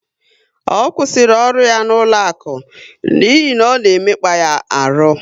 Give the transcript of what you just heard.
Ọ kwụsịrị ọrụ ya n'ụlọaku n'ihi ọ na emekpa ya ọrụ